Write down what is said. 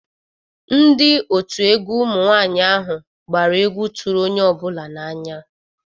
Ndi otu egwu ụmụ nwanyị ahụ gbara egwu tụrụ onye ọ bụla na-anya